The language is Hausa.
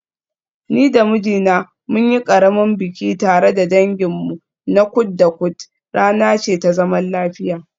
Ni da mijina mun yi ƙaramin biki tare da danginmu na kud da kud, rana ce ta zaman lafiya.